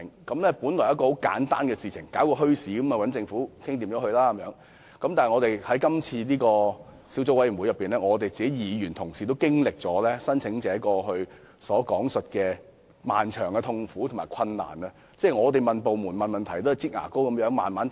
小組委員會委員滿以為發展墟市很簡單，只須與政府商討便可，結果在過程中卻經歷了經營墟市申請者所講述的漫長痛苦和困難：我們向部門提出問題，對方總是如"擠牙膏"般慢慢回覆。